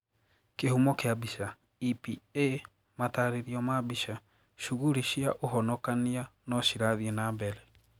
Kihumo kia mbica, EPA Mataririo ma mbica, shughuri cia ũhonokania no cirathie nambere.